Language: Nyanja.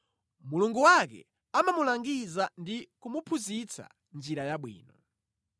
Mulungu wake amamulangiza ndi kumuphunzitsa njira yabwino.